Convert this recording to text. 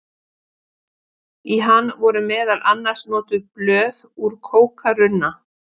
í hann voru meðal annars notuð blöð úr kókarunna